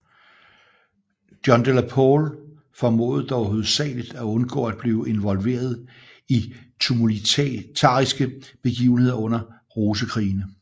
John de la Pole formåede dog hovedsageligt at undgå at blive involveret i de tumultariske begivenheder under Rosekrigene